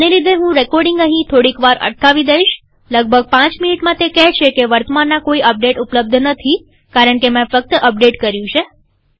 આને લીધેહું રેકોર્ડીંગ અહીં થોડીક વાર અટકાવી દઈશલગભગ પાંચ મિનીટમાં તે કહેશે કે વર્તમાનના કોઈ અપડેટ ઉપલબ્ધ નથી કારણકે મેં ફક્ત અપડેટ કર્યું છે